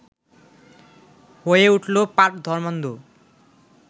হয়ে উঠলো পাঁড় ধর্মান্ধ